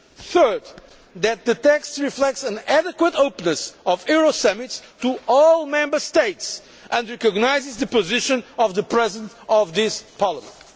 Third, that the text reflects an adequate openness of euro summits to all Member States and recognises the position of the President of this Parliament.